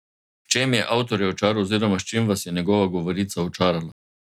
V čem je avtorjev čar oziroma s čim vas je njegova govorica očarala?